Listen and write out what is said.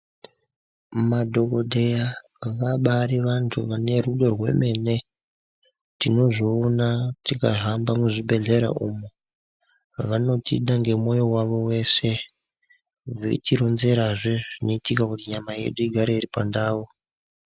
Madhokodheya vabaari vantu vane rudo zvemene, tinozviona tikahamba muzvibhedhlera umwo vanotida ngemwoyo wavo weshe veitironzera zvee zvinoitika kuti nyama yedu igare iri pandau.